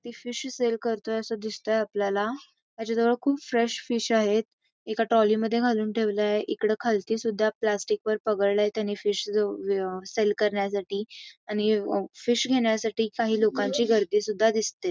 ते fish sale करतोय असं दिसतंय आपल्याला त्याच्याजवळ खूप फ्रेश फिश आहेत एका ट्रॉली मध्ये घालून ठेवले आहे खालतीसुद्धा प्लास्टिकवर पगाळलंय फिश सेल करण्यासाठी आणि फिश घेण्यासाठी काही लोकांची गर्दी सुद्धा दिसते.